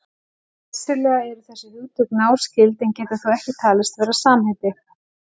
Vissulega eru þessi hugtök náskyld en geta þó ekki talist vera samheiti.